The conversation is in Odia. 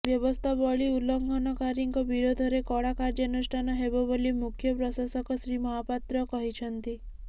ବ୍ୟବସ୍ଥାବଳୀ ଉଲ୍ଲଙ୍ଘନକାରୀଙ୍କ ବିରୋଧରେ କଡ଼ା କାର୍ୟ୍ୟାନୁଷ୍ଠାନ ହେବ ବୋଲି ମୁଖ୍ୟ ପ୍ରଶାସକ ଶ୍ରୀ ମହାପାତ୍ର କହିଛନ୍ତି